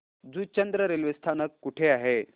Juchandra railway स्थानक कुठे आहे